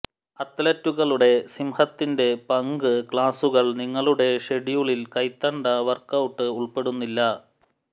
അത്ലറ്റുകളുടെ സിംഹത്തിന്റെ പങ്ക് ക്ലാസുകൾ നിങ്ങളുടെ ഷെഡ്യൂളിൽ കൈത്തണ്ട വർക്ക്ഔട്ട് ഉൾപ്പെടുന്നില്ല